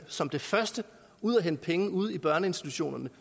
som det første at ud og hente penge ude i børneinstitutionerne